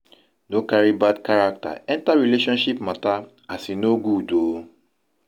no cari bad carakta enta relationship mata as e no good o